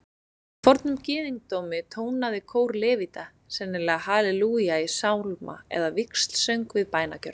Í fornum gyðingdómi tónaði kór levíta sennilega halelúja í sálma eða víxlsöng við bænagjörð.